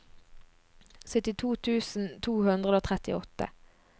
syttito tusen to hundre og trettiåtte